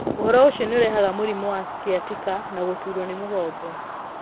Ũndũ ũcio nĩ ũrehaga mũrimũ wa sciatica na gũturwo nĩ mũgongo.